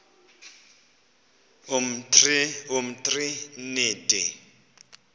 umtriniti